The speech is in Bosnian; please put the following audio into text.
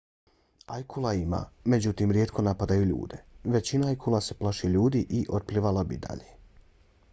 ajkula ima međutim rijetko napadaju ljude. većina ajkula se plaši ljudi i otplivala bi dalje